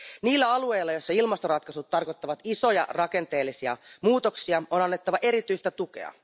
Niille alueille, joissa ilmastoratkaisut tarkoittavat isoja rakenteellisia muutoksia, on annettava erityistä tukea.